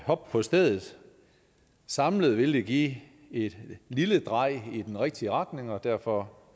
hop på stedet samlet vil det give et lille drej i den rigtige retning og derfor